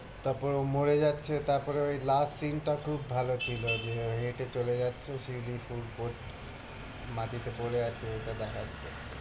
তারপরে ও মরে যাচ্ছে তারপরে ওই last scene টা খুব ভালোছিলো যে হেটে চলে যাচ্ছে শিউলি ফুল পড়ছে মাটি তে পরে আছে এটা দেখাচ্ছে